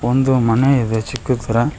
ಒಂದು ಮನೆ ಇದೆ ಚಿಕ್ಕುದ್ ತರ.